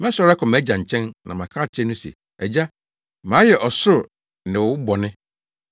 Mɛsɔre akɔ mʼagya nkyɛn na maka akyerɛ no se, Agya, mayɛ ɔsoro ne wo bɔne,